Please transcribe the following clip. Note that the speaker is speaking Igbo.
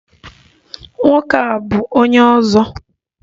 Nwoke a bu onye ozo.